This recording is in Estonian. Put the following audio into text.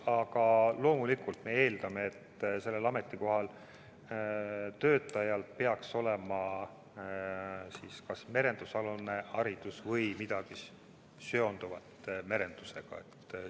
Aga loomulikult me eeldame, et sellel ametikohal töötajal peaks olema kas merendusalane haridus või midagi muud merendusega seonduvat.